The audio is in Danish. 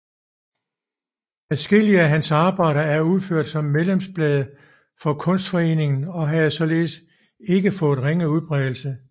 Adskillige af hans arbejder er udført som medlemsblade for Kunstforeningen og have således fået ikke ringe udbredelse